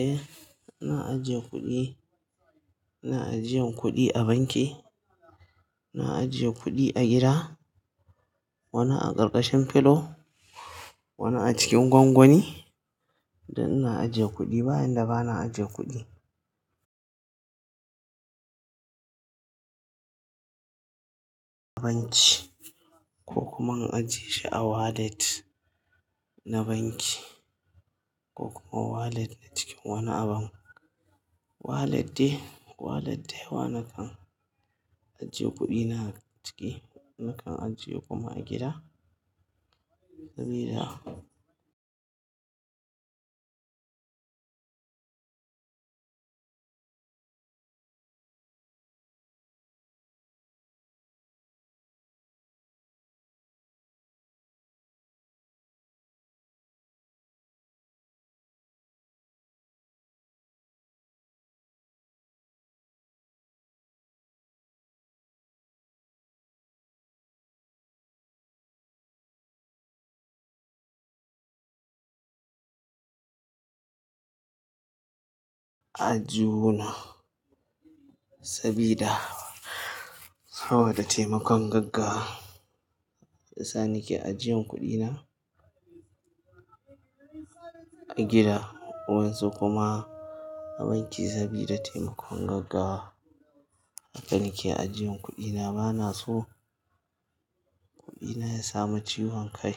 Eh, ina ajiye kuɗi, ina ajiyan kuɗi a banki, ina ajiye kuɗi a gida, wani a ƙarƙashin filo, wani a cikin gwangwani. Dan ina ajiye kuɗi, ba inda bana ajiye kuɗi. Banki ko kuma an ajiye shi a wallet na banki ko kuma wallet na cikin wani abun. Wallet dai, wallet daiwa na kan ajiye kuɗi na ciki, na kan ajiye kuma a gida. Sabida aji huna sabida saboda taimakon gaggawa. Shiyasa nike ajiyan kuɗi na a gida, wayan su kuma a banki sabida taimakon gaggawa. Hakan nake ajiyan kuɗi na, bana so kuɗi na ya samu ciwon kai.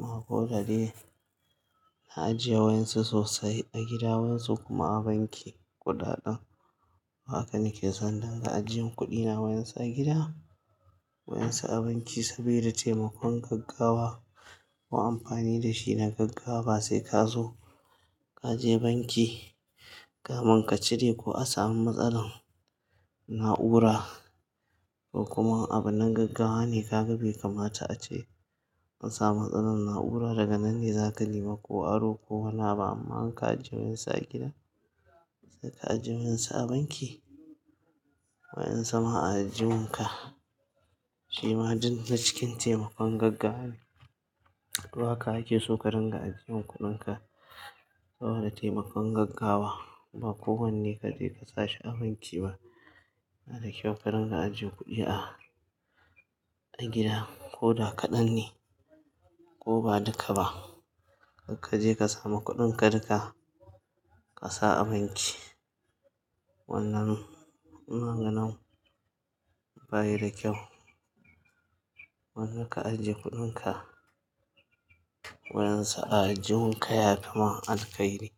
Ma ko da dai, na ajiye wayan su sosai a gida, wayan su kuma a banki kuɗaɗan. Wa hakan nake son danga ajiyan kuɗi na wayan su a gida, wayan su a banki sabida taimakon gaggawa. Wa amfani da shi na gaggawa basai ka zo ka je banki, kamun ka cire ko a samu matsalar na'ura ko kuma abin na gaggawa ne ka gabe kamata ace an samu matsalan na'ura daga nan ne zaka nemi ko aro ko wani abu amma in ka ajiye wayan su a gida sai ka ajiye wayan su a banki. Wayan suma ajihun ka shima din na cikin taimakon gaggawa ne. To haka ake so ka dinga ajiyan kuɗin ka saboda taimakon gaggawa. Ba kowane ka je ka sa shi a banki ba. Na da kyau ka dinga ajiye kuɗi a, a gida ko da kaɗan ne ko ba duka ba. Kar ka je ka samu kuɗin ka duka ka sa a banki. Wannan ina ganin bayi da kyau. Wannan ka ajiye kuɗin ka wayan su a ajihun ka ya fi ma alkhairi.